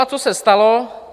A to se stalo.